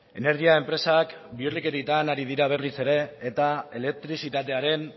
energia enpresak bihurrikerietan ari dira berriz ere eta elektrizitatearen